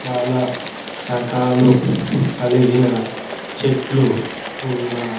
చాలా రకాలు కలిగిన చెట్లు ఉన్నాయి.